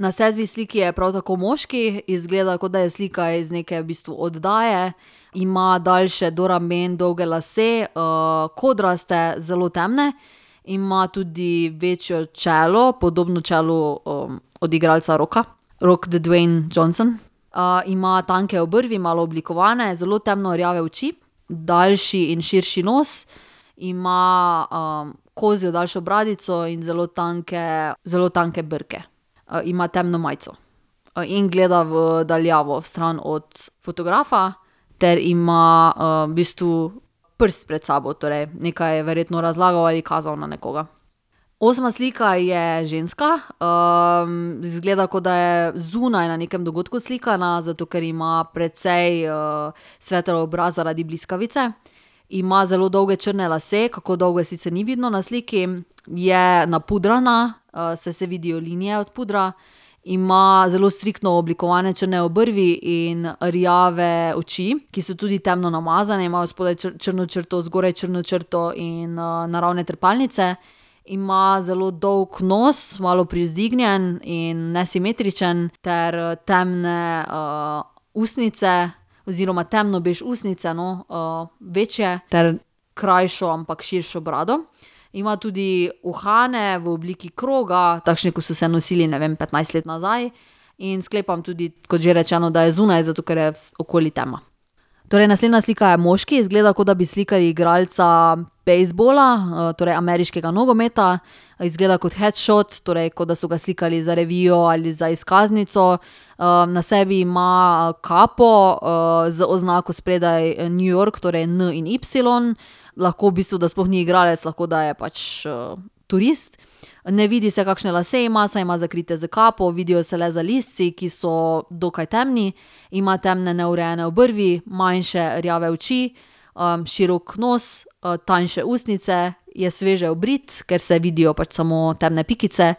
Na sedmi sliki je prav tako moški. Izgleda, kot da je slika iz neke v bistvu oddaje. Ima daljše, do rumeno dolge lase, kodraste, zelo temne. Ima tudi večje čelo, podobno čelu, od igralca Rocka. Rock Dwayne Johnson. ima tanke obrvi, malo oblikovane, zelo temno rjave oči, daljši in širši nos. Ima, kozjo daljšo bradico in zelo tanke, zelo tanke brke. ima temno majico. in gleda v daljavo, vstran od fotografa ter ima, v bistvu prst pred sabo, torej nekaj je verjetno razlagal ali kazal na nekoga. Osma slika je ženska. izgleda, kot da je zunaj na nekem dogodku slikana, zato ker ima precej, svetel obraz zaradi bliskavice. Ima zelo dolge črne lase, kako dolge, sicer ni vidno na sliki. Je napudrana, saj se vidijo linije od pudra, ima zelo striktno oblikovane črne obrvi in rjave oči, ki so tudi temno namazane, ima odspodaj črno črto, zgoraj črno črto in, naravne trepalnice. Ima zelo dolg nos, malo privzdignjen in nesimetričen, ter temne, ustnice oziroma temno bež ustnice, no, večje ter krajšo, ampak širšo brado. Ima tudi uhane v obliki kroga. Takšne, ko so se nosili, ne vem, petnajst let nazaj. In sklepam tudi, kot že rečeno, da je zunaj, zato ker je okoli tema. Torej naslednja slika je moški. Izgleda, kot da bi slikali igralca bejzbola, torej ameriškega nogometa. Izgleda kot headshot, torej kot da so ga slikali za revijo ali za izkaznico. na sebi ima kapo, z oznako spredaj New York, torej N in Y. Lahko v bistvu, da sploh ni igralec, lahko, da je pač, turist. Ne vidi se, kakšne lase ima, saj ima zakrite s kapo. Vidijo se le zalizci, ki so dokaj temni. Ima temne, neurejene obrvi, manjše rjave oči, širok nos, tanjše ustnice, je sveže obrit, ker se vidijo pač samo temne pikice.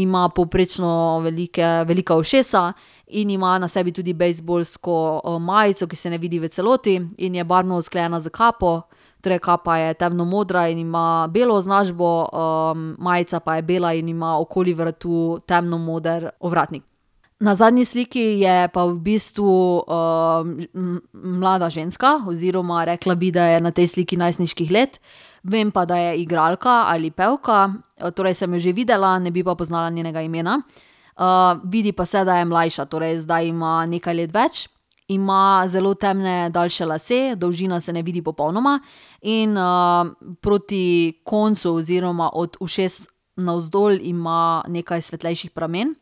Ima povprečno velike, velika ušesa in ima na sebi tudi bejzbolsko majico, ki se ne vidi v celoti in je barvno usklajena s kapo. Torej kapa je temno modra in ima belo označbo, majica pa je bela in ima okoli vratu temno moder ovratnik. Na zadnji sliki je pa v bistvu, mlada ženska oziroma rekla bi, da je na tej sliki najstniških let. Vem pa, da je igralka ali pevka, torej sem jo že videla, ne bi pa poznala njenega imena. vidi pa se, da je mlajša, torej zdaj ima nekaj let več. Ima zelo temne, daljše lase, dolžina se ne vidi popolnoma, in, proti koncu oziroma od ušes navzdol ima nekaj svetlejših pramen.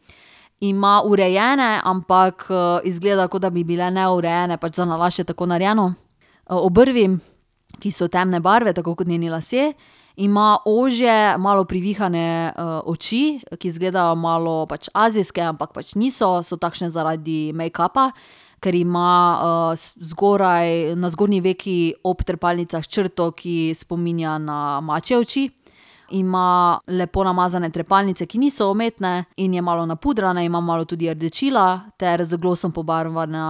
Ima urejene, ampak, izgleda, kot da bi bile neurejene, pač zanalašč je tako narejeno, obrvi, ki so temne barve, tako kot njeni lasje. Ima ožje, malo privihane, oči, ki izgledajo malo pač azijske, ampak pač niso, so takšne zaradi mejkapa, ker ima, zgoraj, na zgornji veki ob trepalnicah črto, ki spominja na mačje oči. Ima lepo namazane trepalnice, ki niso umetne, in je malo napudrana, ima malo tudi rdečila ter z glosom pobarvana,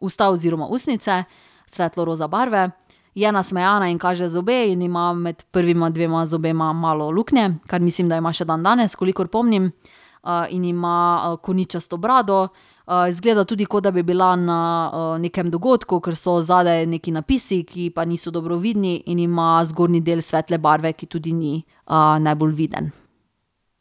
usta oziroma ustnice, svetlo roza barve. Je nasmejana in kaže zobe in ima med prvima dvema zobema malo luknje, kar mislim, da ima še dandanes, kolikor pomnim. in ima koničasto brado. izgleda tudi, kot da bi bila na, nekem dogodku, kar so zadaj nekaj napisi, ki pa niso dobro vidni, in ima zgornji del svetle barve, ki tudi ni, najbolj viden.